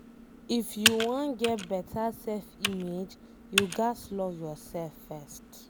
If you wan get beta self image, you ghas love yourself first